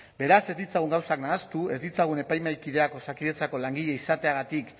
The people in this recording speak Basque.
beraz ez ditzagun gauzak nahastu ez ditzagun epaimahaikideak osakidetzako langile izateagatik